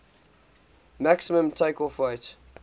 maximum takeoff weight